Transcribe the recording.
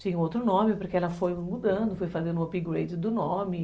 Tinha outro nome, porque ela foi mudando, fui fazendo o upgrade do nome.